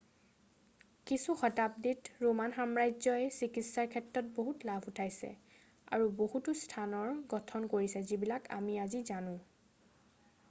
কিছু শতাব্দীত ৰোমান সাম্ৰাজ্যই চিকিৎসাৰ ক্ষেত্ৰত বহুত লাভ উঠাইছে আৰু বহুতো স্থানৰ গঠন কৰিছে যিবিলাক আমি আজি জানো